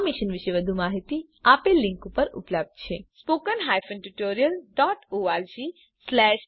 આ મિશન પર વધુ માહીતી આપેલ લીંક પર ઉપલબ્ધ છે httpspoken tutorialorgNMEICT Intro અહીં આ ટ્યુટોરીયલ સમાપ્ત થાય છે